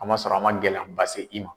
A man sɔrɔ a man gɛlɛyaba se i ma.